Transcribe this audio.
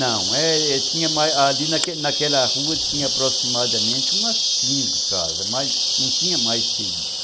não, é... ali naquela naquela rua tinha aproximadamente umas quinze casas, mas, não tinha mais que isso.